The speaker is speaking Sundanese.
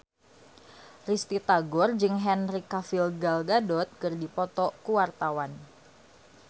Risty Tagor jeung Henry Cavill Gal Gadot keur dipoto ku wartawan